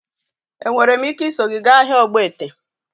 Enwere m ike iso gị gaa ahịa ogbete?